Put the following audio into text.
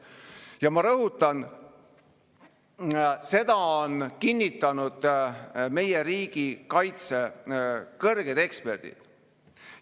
Ja ma rõhutan, seda on kinnitanud meie riigikaitse kõrged eksperdid.